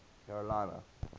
carolina